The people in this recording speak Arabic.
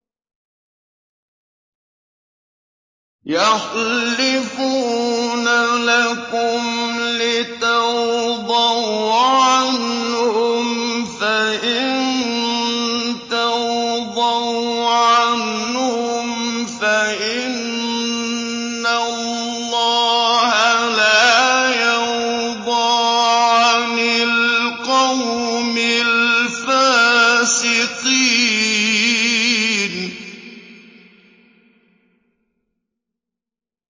يَحْلِفُونَ لَكُمْ لِتَرْضَوْا عَنْهُمْ ۖ فَإِن تَرْضَوْا عَنْهُمْ فَإِنَّ اللَّهَ لَا يَرْضَىٰ عَنِ الْقَوْمِ الْفَاسِقِينَ